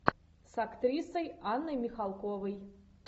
с актрисой анной михалковой